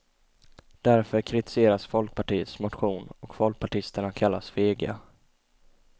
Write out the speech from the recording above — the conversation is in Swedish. Därför kritiseras folkpartiets motion och folkpartisterna kallas fega.